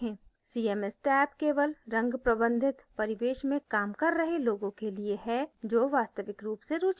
cms tab केवल रंग प्रबंधित परिवेश में काम कर रहे लोगों के लिए है जो वास्तविक रूप से रूची रखेंगे